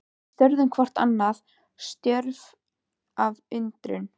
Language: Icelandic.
Við störðum hvort á annað, stjörf af undrun.